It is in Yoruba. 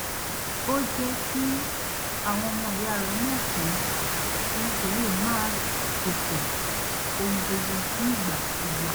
ó jẹ́ kí àwọn ọmọ ìyá rẹ̀ mọ̀ pé òun kò lè máa ṣètò ohun gbogbo nígbà gbogbo